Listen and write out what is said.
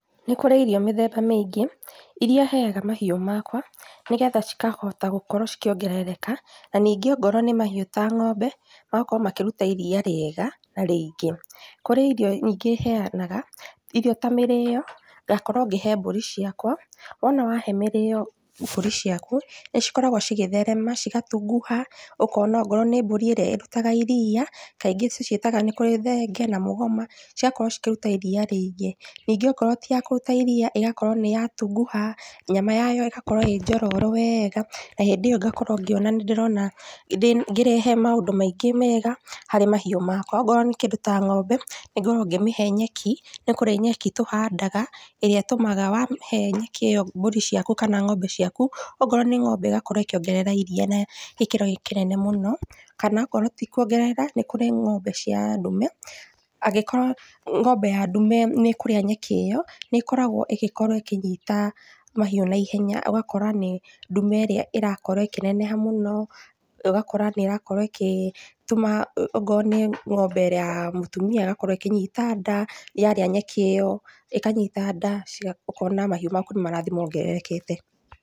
Nĩ kurĩ irio mĩthemba mĩingĩ iria heyaga mahiũ makwa nĩgetha cikahota gũkorwo cikĩongerereka, na ningĩ angorwo nĩ mahiũ ta ng'ombe magakorwo makĩruta iria rĩega na rĩingĩ. Kũrĩ irio ingĩ heyanaga irio ta mĩrĩyo, ngakorwo ngĩhe mbũri ciakwa, wona wahe mĩrĩyo mbũri ciaku nĩcikoragwo cigĩtherema cigatunguha na ongorwo nĩ mbũri ĩrĩa ĩrutaga iria kaingĩ tũciĩtaga nĩ kũrĩ thenge na mũgoma cigakorwo ikĩruta iria rĩingĩ ningĩ akorwo ti ya kũruta iria ĩgakorwo nĩ yatunguha nyama yayo ĩgakorwo ĩrĩ njororo wega na hĩndĩ ĩyo ngakorwo ngĩona nĩndĩrona ngĩrehe maũndũ maingĩ mega harĩ mahiũ makwa, ongorwo nĩ kĩndũ ta ng'ombe nĩngoragwo ngĩmĩhe nyeki nĩkũrĩ nyeki tũhandaga ĩrĩa ĩtumaga wamĩhe nyeki ĩyo mbũri ciaku kana ng'ombe ciaku akorwo nĩ ng'ombe ĩgakorwo ĩkĩongerera iria na gĩkĩro kĩnene mũno na akorwo ti kuongerera nĩ kũrĩ ng'ombe cia ndume angĩkorwo ng'ombe ya ndume nĩĩkũrĩa nyeki ĩyo nĩkoragwo ĩgĩkorwo ĩkĩnyita mahiũ naihenya ũgakora nĩ ndume ĩrĩa irakorwo ĩkĩneneha mũno na ĩgakorwo ĩgĩtũma akorwo nĩ ng'ombe ya mũtumia ĩgakorwo ĩkĩnyita nda nyarĩa nyeki ĩyo ĩkanyita nda na ũkona mahiũ maku nĩmarathie mongererekete.